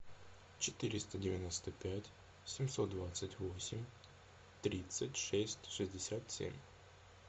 четыреста девяносто пять семьсот двадцать восемь тридцать шесть шестьдесят семь